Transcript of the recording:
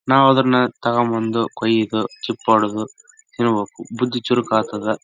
ನಾವದನ್ನ ತಗೊಂಡ್‌ ಬಂದು ಕೋಯ್ದು ಚಿಪ್ಪೊಡೆದು ತಿನ್ಬೇಕು ಬುದ್ಧಿ ಚುರುಕಾಗ್ತದ.